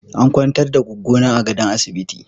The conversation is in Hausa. An kwantar da Goggo na a gadon asibiti.